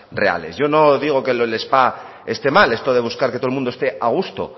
reales yo no digo que lo del spa esté mal esto de buscar que todo el mundo esté a gusto